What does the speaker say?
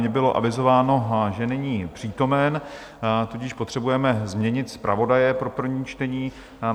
Mně bylo avizováno, že není přítomen, tudíž potřebujeme změnit zpravodaje pro první čtení.